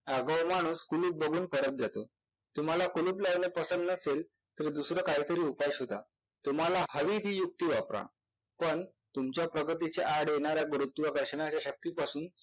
आगाऊ माणूस कुलूप बघून परत जातो. तुम्हाला कुलूप लावणे पसंद नसेल तर दुसरा काहीतरी उपाय शोधा, तुम्हाला हवी ती युक्ती वापरा पण तुमच्या प्रगतीच्या आड येणाऱ्या गुरुत्वाकर्षणाच्या शक्तीपासून